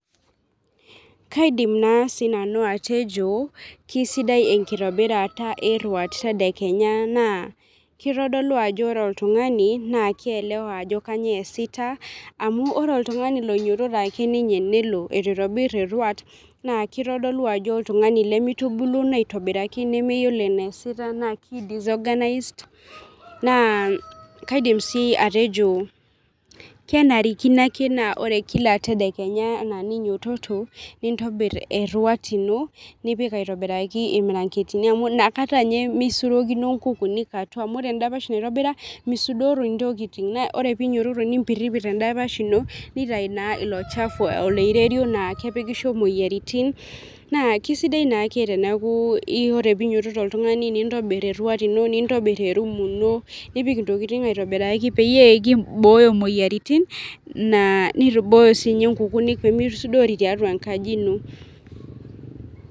kaidim naa sinanu atejo kisidai enkitobirata eruat tadekenya naa kitodolu ajo ore oltungani naa kielewa ajo kainyioo eesita amu ore oltungani loinyiototo ake ninye nelo eitu itobir eruat naa kitodolu ajo oltungani lemitubuluno aitobiraki nemeyiolo eneesita naa kidisorganised naa kaidim sii atejo kenarikino ake naa ore kila tadekenya anaa ninyioto , nintobir eruat ino , nipik aitobiraki irmiranketin amu inakata ninye misurokino inkukunik atua amuore endapash naitobira misudori ntokitin naa ore pinyiototo nimpirpir endapasha ino nitau naa ilo chafu oloirerio naa kepikisho imoyiaritin naa kisidai naake teneaku ore pinyototo oltungani nintobir eruat ino , nintobir erumu ino , nipik intokitin aitobiraki peyie kibooyo imoyiaritin naa nibooyo sinye nkukunik pemisudori tiatua enkaji ino.